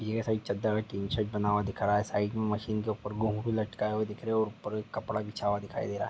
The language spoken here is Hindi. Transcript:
यह साइड चद्दर में टिन शेड बना हुआ दिख रहा है साईड में मशीन के ऊपर घुँगरू लटका हुआ दिख रहा है ऊपर एक कपड़ा बिछा हुआ दिखाई दे रहा है।